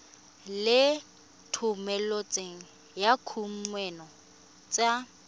le thomeloteng ya dikuno tsa